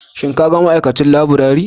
Shin ka ga ma'aikacin laburare?